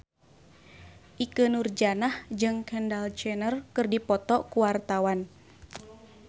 Ikke Nurjanah jeung Kendall Jenner keur dipoto ku wartawan